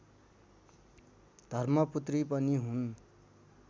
धर्मपुत्री पनि हुन्